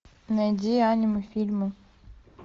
найди аниме фильмы